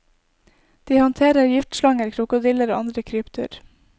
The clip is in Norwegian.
De håndterer giftslanger, krokodiller og andre krypdyr.